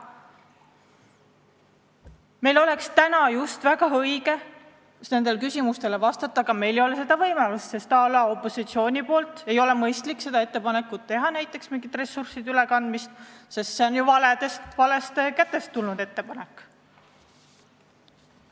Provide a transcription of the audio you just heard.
Meil oleks täna väga õige nendele küsimustele vastata, aga meil ei ole seda võimalust, sest opositsiooni poolt ei ole mõistlik teha ettepanekut mingite ressursside ülekandmiseks – see on ju valede inimeste ettepanek.